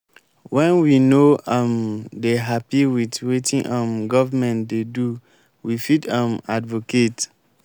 when we no um dey happy with wetin um governement dey do we fit um advocate